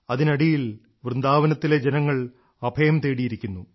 അതിനടിയിൽ വൃന്ദാവനത്തിലെ ജനങ്ങൾ അഭയം തേടിയിരിക്കുന്നു